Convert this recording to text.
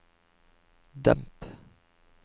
demp